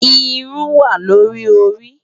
Irún wá lóri óri